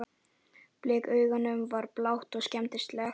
Blik augnanna var blátt og skelmislegt.